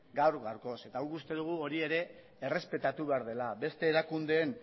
gaur gaurkoz eta guk uste dugu hori ere errespetatu behar dela beste erakundeen